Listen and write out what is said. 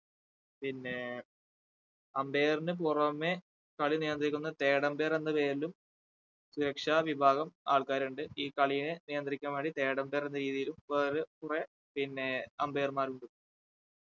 പിന്നേ umpire ന് പുറമെ കളി നിയന്ത്രിക്കുന്ന third umpire എന്ന പേരിലും സുരക്ഷാ വിഭാഗം ആൾക്കാർ ഉണ്ട് ഈ കളിനെ നിയന്ത്രിക്കാൻ വേണ്ടി third umpire എന്ന രീതിയിലും വേറെ കുറെ പിന്നേ umpire മാരുണ്ട്